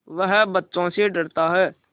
वह बच्चों से डरता है